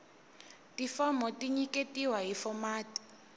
tifomo ti nyiketiwa hi fomati